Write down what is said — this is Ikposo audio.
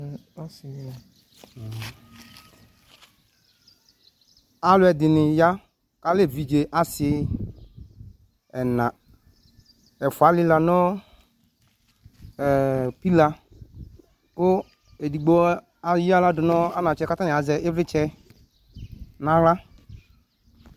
alʊɛdɩnɩ ya kʊ alɛ evidze asi ɛna, ɛfua alɩla nʊ pila, kʊ edigbo eyaɣladʊ nʊ anatsɛ kʊ atanɩ azɛ ɩvlɩtsɛ naɣla